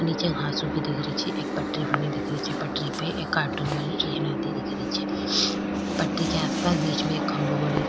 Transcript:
निचे घास उगी दिख री छे एक पटरी बनी दिख रही छे पटरी पे एक कॉर्टून वाली ट्रैन आती दिख रही छे पटरी के आस पास बिच में एक खम्भों गाडो दी --